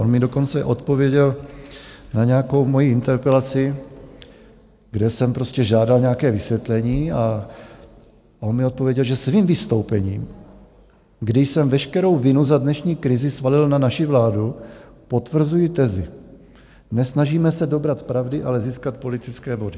On mi dokonce odpověděl na nějakou moji interpelaci, kde jsem prostě žádal nějaké vysvětlení, a on mi odpověděl, že svým vystoupením, kdy jsem veškerou vinu za dnešní krizi svalil na naši vládu, potvrzuji tezi: nesnažíme se dobrat pravdy, ale získat politické body.